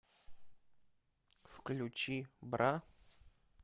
включи бра